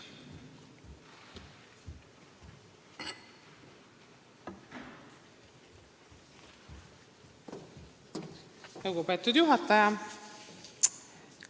Lugupeetud juhataja!